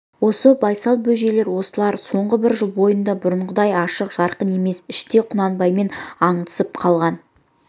осы байсал бөжейлер осылар соңғы бір жыл бойында бұрынғыдай ашық жарқын емес іштей құнанбаймен аңдысып қалған